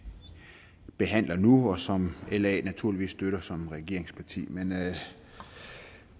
behandler nu og som la naturligvis støtter som regeringsparti men